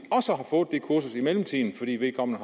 mellemtiden fordi vedkommende